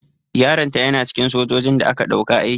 Yaron ta yana cikin sojojin da aka ɗauka aiki.